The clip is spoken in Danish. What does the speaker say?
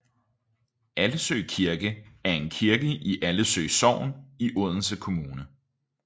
Allesø Kirke er en kirke i Allesø Sogn i Odense Kommune